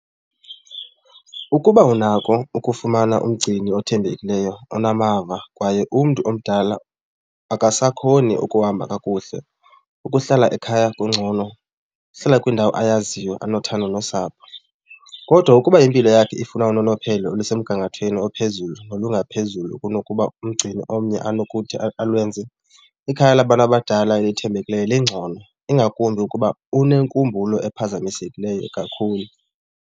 Ukuba unako ukufumana umgcini othembekileyo onamava kwaye umntu omdala akasakhoni ukuhamba kakuhle, ukuhlala ekhaya kungcono, ukuhlala kwindawo ayaziyo enothando nosapho. Kodwa ukuba impilo yakhe ifuna unonophelo olusemgangathweni ophezulu olungaphezulu kunokuba umgcini omnye anokuthi alwenze, ikhaya labantu abadala elithembekileyo lingcono, ingakumbi ukuba unenkumbulo ephazamisekileyo kakhulu.